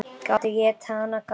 Gátu étið hana, gátu.